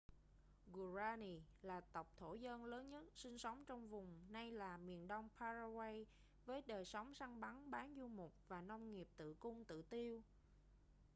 guaraní là tộc thổ dân lớn nhất sinh sống trong vùng nay là miền đông paraguay với đời sống săn bắn bán du mục và nông nghiệp tự cung tự tiêu